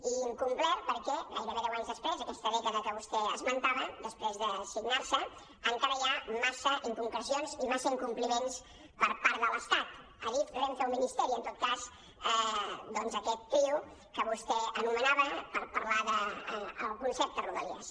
i incomplert perquè gairebé deus anys després aquesta dècada que vostè esmentava després de signar se encara hi ha massa inconcrecions i massa incompliments per part de l’estat adif renfe o ministeri en tot cas doncs aquest trio que vostè anomenava per parlar del concepte rodalies